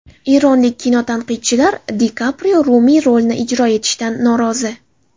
Eronlik kinotanqidchilar Di Kaprio Rumiy rolini ijro etishidan norozi.